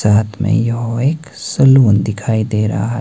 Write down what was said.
साथ मे यहां एक सलून दिखाई दे रहा है।